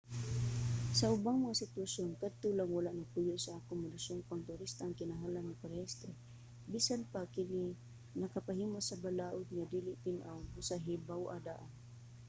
sa ubang mga sitwasyon kadto lang wala nagpuyo sa akomodasyong pangturista ang kinahanglan magparehistro. bisan pa kini nakapahimo sa balaod nga dili tin-aw busa hibaw-a daan